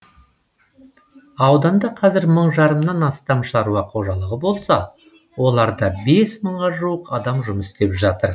ауданда қазір мың жарымнан астам шаруа қожалығы болса оларда бес мыңға жуық адам жұмыс істеп жатыр